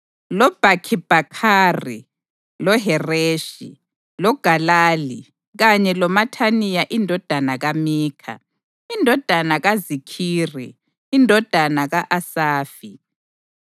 loBhakhibhakhari, loHereshi, loGalali kanye loMathaniya indodana kaMikha, indodana kaZikhiri, indodana ka-Asafi;